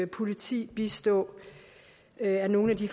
politi bistå det er nogle af de